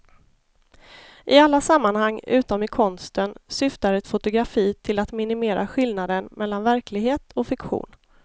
I alla sammanhang utom i konsten syftar ett fotografi till att minimera skillnaden mellan verklighet och fiktion.